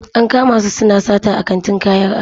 An kama su suna sata a kantin kayan ado.